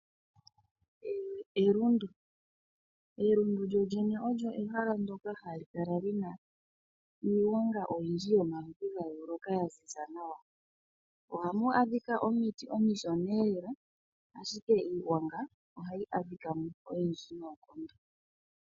Elundu. Elundu lyoluene olyo ehala ndoka hali kala linna iigwanga oyindji yomaludhi gayooloka ya ziza nawa. Ohamu adhika omiti omishoneelela, ashike iigwanga ohayi kala oyindji noonkondo.